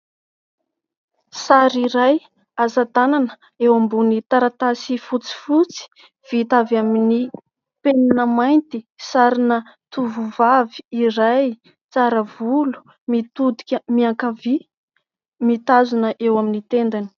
Sary iray asatanana eo ambony taratasy fotsifotsy vita avy amin'ny penina mainty, sarina tovovavy iray tsara volo mitodika miankavia mitazona eo amin'ny tendany.